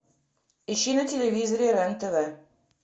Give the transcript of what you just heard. ищи на телевизоре рен тв